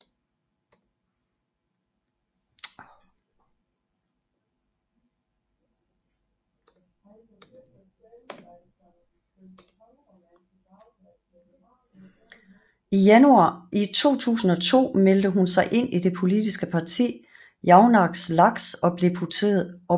I 2002 meldte hun sig ind i det politiske parti Jaunais laiks og blev deputeret i 8